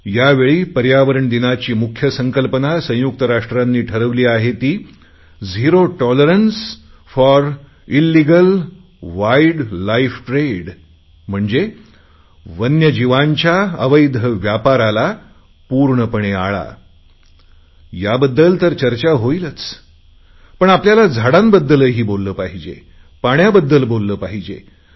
यावेळी पर्यावरण दिनाची मुख्य संकल्पना संयुक्त राष्ट्रांनी ठरवली आहे ती आहे zero tolerance for illegal wild life trade म्हणजे वन्यजीवांच्या व्यापाराला पूर्णपणे आळा याबद्दल तर चर्चा होईलच पण आपल्याला झाडाबद्दलही बोलले पाहिजे पाण्याबद्दल बोलले पाहिजे